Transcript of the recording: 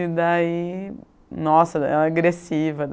E daí, nossa, era agressiva.